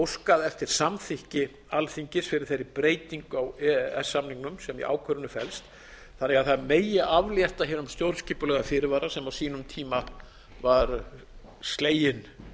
óskað eftir samþykki alþingis fyrir þeirri breytingu á e e s samningnum sem í ákvörðuninni flest þannig að það megi aflétta hinum stjórnskipulega fyrirvara sem á sínum tíma var sleginn